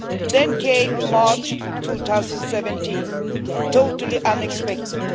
Then came March 2017, totally unexpected.